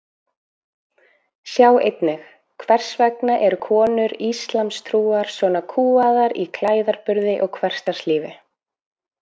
Sjá einnig Hvers vegna eru konur íslamstrúar svona kúgaðar í klæðaburði og hversdagslífi?